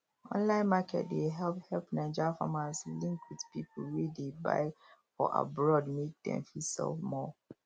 online market dey help help naija farmers link with people wey dey buy for abroad mek dem fit sell more